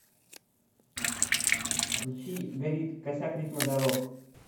включи горит косяк ритма дорог